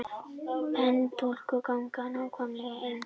Pendúlklukkur ganga nákvæmlega eins.